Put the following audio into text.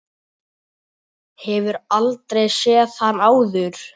Hefur aldrei séð hann áður.